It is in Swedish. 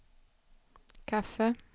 kaffe